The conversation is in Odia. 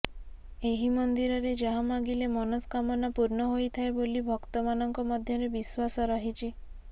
ଏହି ମନ୍ଦିରେ ଯାହା ମାଗିଲେ ମନସ୍କାମନା ପୂର୍ଣ୍ଣ ହୋଇଥାଏ ବୋଲି ଭକ୍ତ ମାନଙ୍କ ମଧ୍ୟରେ ବିଶ୍ବାସ ରହିଛି